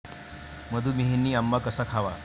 मधूमेहींनी आंबा कसा खावा?